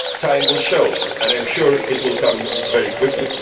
Time will show, and I am sure that time will come very quickly.